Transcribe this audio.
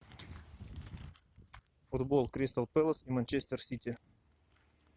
футбол кристал пэлас и манчестер сити